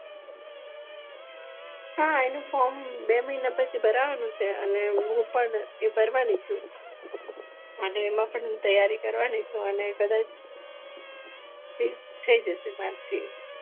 હા એનું ફ્રોમ બે મહિના પછી ભારવાનું છે ને હું પણ એ ભરવાની છું અને એમાં પણ હું તૈયારી કરવાની છું અને કદાચ થઇ જશે મારથી